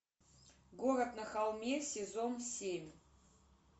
город на холме сезон семь